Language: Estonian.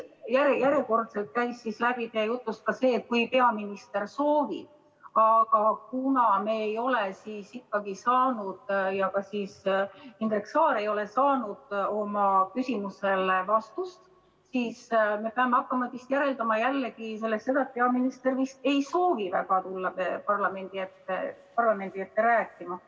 Järjekordselt käis läbi siit jutust ka see, et kui peaminister soovib, aga kuna me ei ole saanud vastust ja Indrek Saar ei ole saanud oma küsimusele vastust, siis me peame hakkama jällegi järeldama sellest, et peaminister eriti ei soovi väga tulla parlamendi ette rääkima.